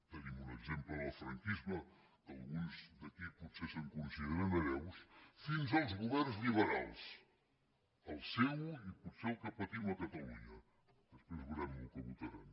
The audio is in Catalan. tenim un exemple en el franquisme alguns d’aquí potser se’n consideren hereus fins als governs lliberals el seu i potser el que patim a catalunya després veurem el que votaran